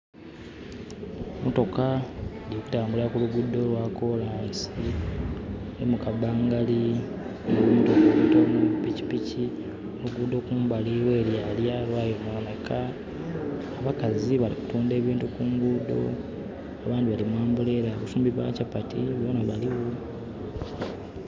Mmotoka dhiri kutambulira ku luguudo lwa kolansi, nhi mu kabangali (and) pikipiki, oluguudo kumbali lwelyalya lwayononheka. Abakazi bali kutuundha ebintu kungudho, abandhi bali mu ambulera, abafumbi ba chapati bona baligho.